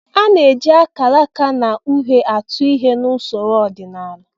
A na-eji akalaka na uhe atụ ihe n'usoro ọdịnala